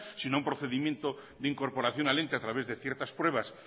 sino a un procedimiento de incorporación al ente a través de ciertas pruebas